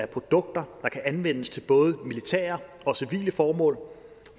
produkter der kan anvendes til både militære og civile formål